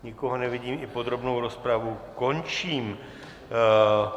Nikoho nevidím, i podrobnou rozpravu končím.